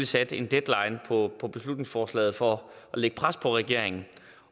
sat en deadline på på beslutningsforslaget for at lægge pres på regeringen